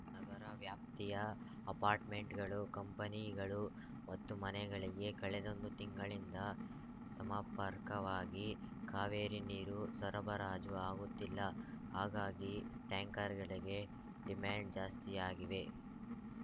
ನಗರ ವ್ಯಾಪ್ತಿಯ ಅಪಾರ್ಟ್‌ಮೆಂಟ್‌ಗಳು ಕಂಪನಿಗಳು ಮತ್ತು ಮನೆಗಳಿಗೆ ಕಳೆದೊಂದು ತಿಂಗಳಿಂದ ಸಮರ್ಪಕವಾಗಿ ಕಾವೇರಿ ನೀರು ಸರಬರಾಜು ಆಗುತ್ತಿಲ್ಲ ಹಾಗಾಗಿ ಟ್ಯಾಂಕರ್‌ಗಳಿಗೆ ಡಿಮ್ಯಾಂಡ್ ಜಾಸ್ತಿಯಾಗಿವೆ